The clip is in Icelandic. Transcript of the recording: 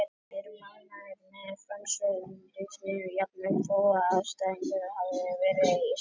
Við erum ánægðir með frammistöðu liðsins jafnvel þó aðstæðurnar hafi verið slæmar,